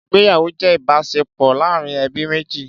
Ìgbéyàwó jẹ́ ìbáṣepọ̀ láàárín ẹbí méjì